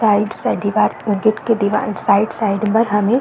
side से दिवार के दिवार साइड - साइड पर हमें --